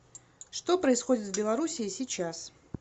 что происходит в белоруссии сейчас